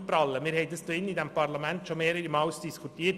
Darüber haben wir hier im Parlament bereits mehrere Male diskutiert.